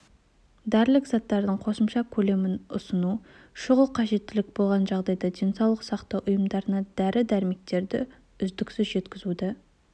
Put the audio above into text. дәрілік заттардың қосымша көлемін ұсыну шұғыл қажеттілік болған жағдайда денсаулық сақтау ұйымдарына дәрі-дәрмектерді үздіксіз жеткізуді